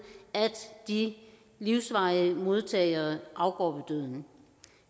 at de livsvarige modtagere afgår døden